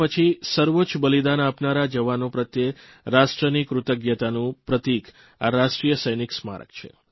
સ્વતંત્રતા પછી સર્વોચ્ચ બલિદાન આપનારા જવાનો પ્રત્યે રાષ્ટ્રની કૃતજ્ઞતાનું પ્રતિક આ રાષ્ટ્રીય સૈનિક સ્મારક છે